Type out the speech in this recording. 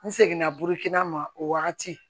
N seginna burukina ma o wagati